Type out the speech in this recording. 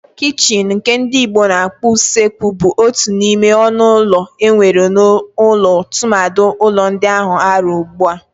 Kichini nke ndi Igbo na-akpọ usekwu bu otu n'ime ọnụ ụlọ enwere n'ụlọ tụmadị ụlọ ndi ans-arụ ugbua.